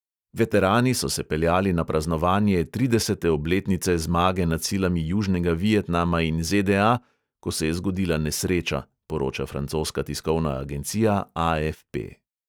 Veterani so se peljali na praznovanje tridesete obletnice zmage nad silami južnega vietnama in ZDA, ko se je zgodila nesreča, poroča francoska tiskovna agencija AFP.